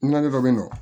Nɔni dɔ bɛ yen nɔ